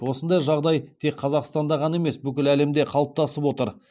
осындай жағдай тек қазақстанда ғана емес бүкіл әлемде қалыптасып отыр